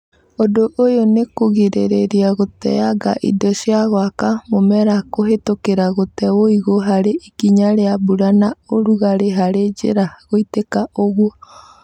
ũndũ ũyũ nĩ kũgirĩrĩria gũteanga indo cia gwaka mũmera kũhetũkĩra gũtee wũigũ harĩ ikinya rĩa mbura na ũrugarĩ harĩ njĩra gũitĩka ũguo